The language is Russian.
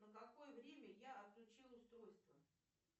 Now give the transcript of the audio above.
на какое время я отключила устройство